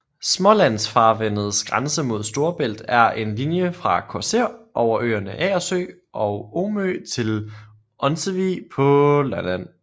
Smålandsfarvandets grænse mod Store Bælt er en linje fra Korsør over øerne Agersø og Omø til Onsevig på Lolland